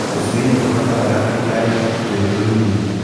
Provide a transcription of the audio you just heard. Tũcui nĩ tubataraga rugarĩ twĩtũnini.